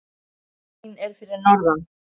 Stúlkan mín er fyrir norðan.